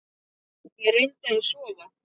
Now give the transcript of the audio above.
Ég reyndi að sofa.